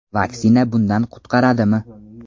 Vaksina bundan qutqaradimi?.